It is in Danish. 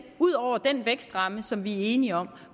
ud over den vækstramme som vi er enige om